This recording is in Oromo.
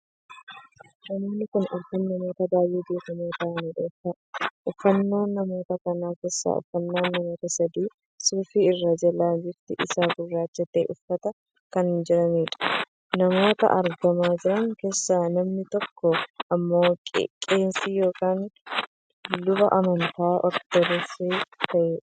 Namoonni kun arfan namoota baay'ee beekamoo ta'aniidha. uffannaan namoota kana keessaa uffannaa namoota sadii suufii irraa jalaan bifti isaa gurraacha tahee uffatanii kan jiraniidha. namoota argamaa jiran keessaa namni tokko ammoo qeesii ykn luba amantaa ortodoksii kan taheedha.